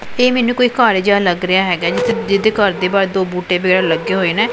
ਇਹ ਮੈਨੂੰ ਕੋਈ ਘਰ ਜਿਹਾ ਲੱਗ ਰਿਹਾ ਹੈਗਾ ਜਿਹਦੇ ਘਰ ਦੇ ਬਾਹਰ ਦੋ ਬੂਟੇ ਲੱਗੇ ਹੋਏ ਨੇ।